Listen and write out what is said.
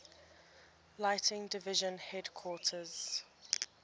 lighting division headquarters